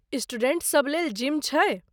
Students सभलेल gym छै?